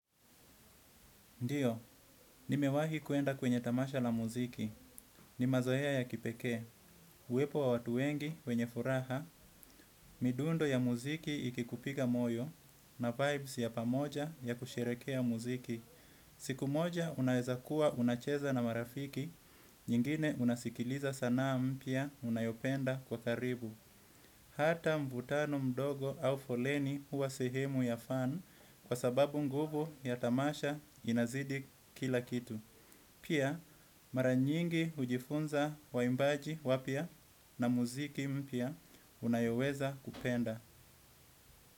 Ndio, nimewahi kwenda kwenye tamasha la muziki ni mazoea ya kipekee uwepo wa watu wengi wenye furaha midundo ya muziki ikikupiga moyo na vybes ya pamoja ya kusherekea muziki. Siku moja unaweza kuwa unacheza na marafiki nyingine unasikiliza sanaa mpya unayopenda kwa karibu. Hata mvutano mdogo au foleni uwa sehemu ya fun kwa sababu nguvu ya tamasha inazidi kila kitu. Pia mara nyingi ujifunza waimbaji wapya na muziki mpya unayoweza kupenda.